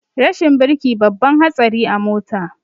Rashin birki babban hatsari a mota